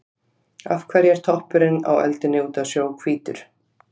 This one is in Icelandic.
Af hverju er toppurinn á öldunni úti á sjó hvítur?